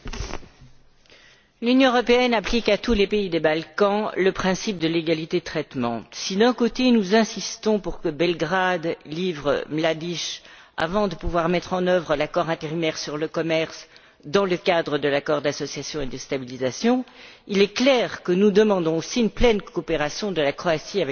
Madame la Présidente, l'Union européenne applique à tous les pays des Balkans le principe de l'égalité de traitement. Si, d'un côté, nous insistons pour que Belgrade livre Mladic avant de pouvoir mettre en œuvre l'accord intérimaire sur le commerce dans le cadre de l'accord d'association et de stabilisation, il est clair que nous demandons aussi une pleine coopération de la Croatie avec le Tribunal.